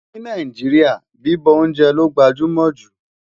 ní Nàìjíríà, bibọ oúnjẹ ló gbajúmò jù